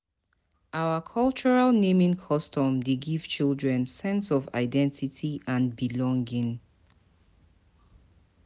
Our cultural naming custom dey give children sense of identity and belonging.